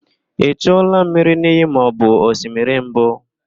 I chuola mmiri n'iyi maọbụ osimiri mbụ?